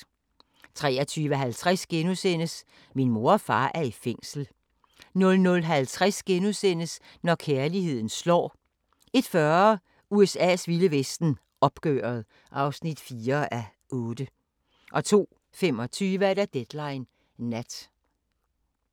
23:50: Min mor og far er i fængsel * 00:50: Når kærligheden slår * 01:40: USA's vilde vesten: Opgøret (4:8) 02:25: Deadline Nat